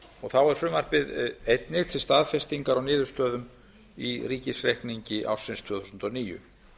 þá er frumvarpið einnig til staðfestingar á niðurstöðum í ríkisreikningi ársins tvö þúsund og níu